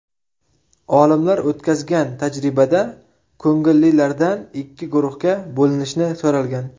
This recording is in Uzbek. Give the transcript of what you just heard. Olimlar o‘tkazgan tajribada ko‘ngillilardan ikki guruhga bo‘linishni so‘ralgan.